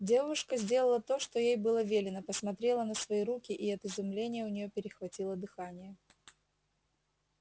девушка сделала то что ей было велено посмотрела на свои руки и от изумления у нее перехватило дыхание